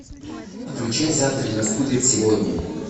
включай завтра наступит сегодня